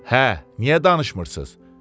Hə, niyə danışmırsız?